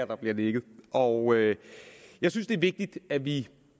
der bliver nikket og jeg synes det er vigtigt at vi